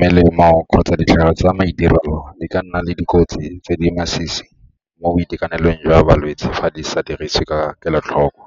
Melemo kgotsa ditlhare tsa maitirelo di ka nna le dikotsi tse di masisi mo boitekanelong jwa balwetse fa di sa dirisiwe ka kelotlhoko.